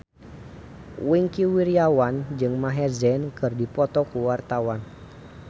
Wingky Wiryawan jeung Maher Zein keur dipoto ku wartawan